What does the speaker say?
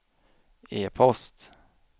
e-post